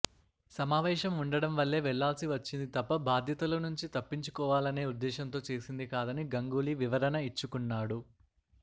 సమావేశం ఉండడం వల్లే వెళ్లాల్సి వచ్చింది తప్ప బాధ్యతల నుంచి తప్పించుకోవాలనే ఉద్దేశంతో చేసింది కాదని గంగూలీ వివరణ ఇచ్చుకున్నాడు